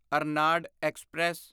Ernad express